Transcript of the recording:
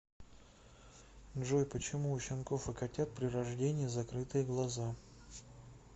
джой почему у щенков и котят при рождении закрытые глаза